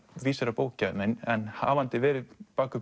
vísir að bókagæðum en hafandi verið bak við